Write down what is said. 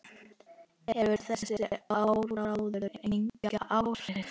Hefur þessi áróður engin áhrif?